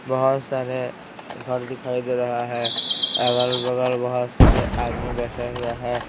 बहुत सारे घर दिखाई दे रहा है अगल-बगल बहुत सारे आदमी बैठे हुए हैं।